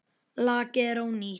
Lakið er ónýtt!